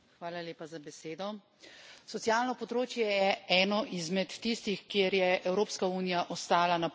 Socialno področje je eno izmed tistih, kjer je Evropska unija ostala na pol poti pri harmonizaciji.